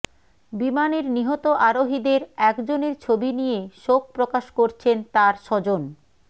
বিমানের নিহত আরোহীদের একজনের ছবি নিয়ে শোক প্রকাশ করছেন তার স্বজন